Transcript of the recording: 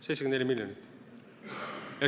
74 miljonit!